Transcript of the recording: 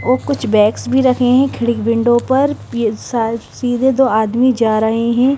कुछ बैग्स भी रखे हैं खिड़क विंडो पर सीधे दो आदमी जा रहे हैं।